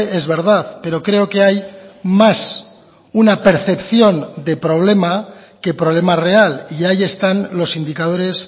es verdad pero creo que hay más una percepción de problema que problema real y ahí están los indicadores